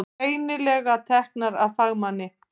Greinilega teknar af fagmanni.